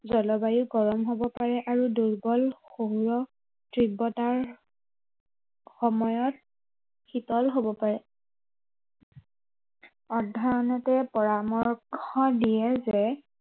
জলবায়ু গৰম হব পাৰে আৰু দুৰ্বল সৌৰ তীব্ৰতাৰ সময়ত, শীতল হব পাৰে। সাধাৰণতে পৰামৰ্শ দিয়ে যে